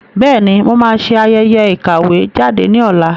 Bẹ́ẹ̀ni, mo máa ṣe ayẹyẹ ìkàwé jáde ní ọ̀la